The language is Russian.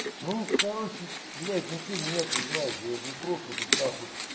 ну короче блять ну что меня ты знаешь я же не просто тут нахуй